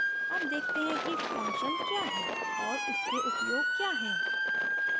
अब देखते हैं कि function क्या है और उसके उपयोग क्या हैं